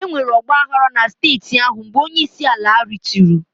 Enwere ọgba aghara na steeti ahụ mgbe onyeisiala rituo.